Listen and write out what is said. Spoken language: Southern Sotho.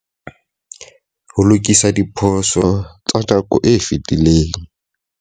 Ho lokisa diphoso tsa nako e fetileng.